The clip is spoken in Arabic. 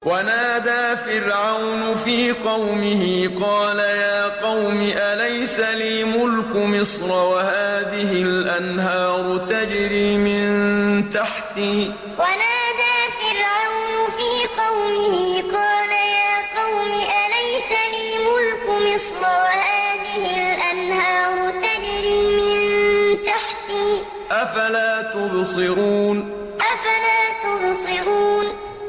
وَنَادَىٰ فِرْعَوْنُ فِي قَوْمِهِ قَالَ يَا قَوْمِ أَلَيْسَ لِي مُلْكُ مِصْرَ وَهَٰذِهِ الْأَنْهَارُ تَجْرِي مِن تَحْتِي ۖ أَفَلَا تُبْصِرُونَ وَنَادَىٰ فِرْعَوْنُ فِي قَوْمِهِ قَالَ يَا قَوْمِ أَلَيْسَ لِي مُلْكُ مِصْرَ وَهَٰذِهِ الْأَنْهَارُ تَجْرِي مِن تَحْتِي ۖ أَفَلَا تُبْصِرُونَ